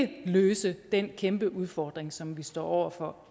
kan løse den kæmpe udfordring som vi står over for